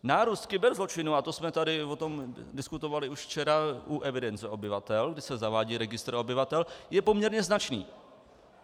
Nárůst kyberzločinů, a to jsme tady o tom diskutovali už včera u evidence obyvatel, kdy se zavádí registr obyvatel, je poměrně značný.